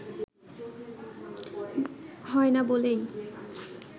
হয় না বলেই